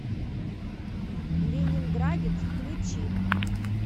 ленинградец включи